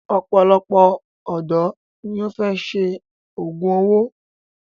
òpòlopò òdò ní o fè ṣe ògún owó.